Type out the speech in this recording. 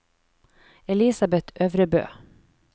Elisabeth Øvrebø